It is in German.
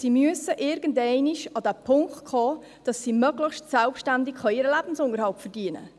Sie müssen irgendwann an den Punkt kommen, wo sie möglichst selbstständig ihren Lebensunterhalt verdienen.